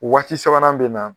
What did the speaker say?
Waati sabanan bɛ na